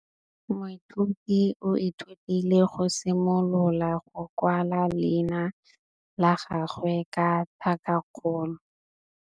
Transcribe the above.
Moithuti o ithutile go simolola go kwala leina la gagwe ka tlhakakgolo.